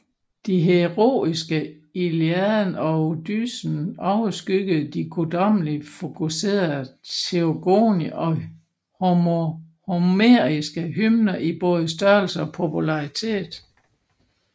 De heroiske Iliaden og Odysseen overskyggede de guddommelig fokuserede Teogoni og homeriske hymner i både størrelse og popularitet